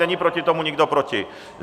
Není proti tomu nikdo, proti?